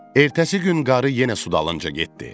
Ertəsi gün qarı yenə sudalınca getdi.